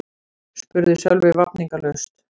spurði Sölvi vafningalaust.